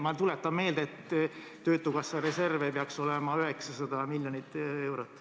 Ma tuletan meelde, et töötukassa reservid peaksid olema 900 miljonit eurot.